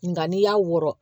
Nga n'i y'a wɔrɔ